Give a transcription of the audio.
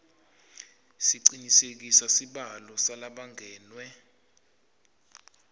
sicinisekise sibalo salabangenwe